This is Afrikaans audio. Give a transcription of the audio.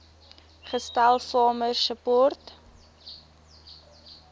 gestel farmer support